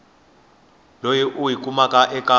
leyi u yi kumaka eka